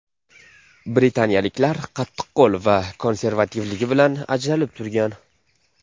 Britaniyaliklar qattiqqo‘l va konservativligi bilan ajralib turgan.